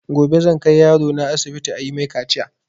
Gobe zan kai yaro na asibiti ayi mai kaciya